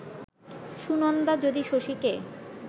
সুনন্দা যদি শশীকে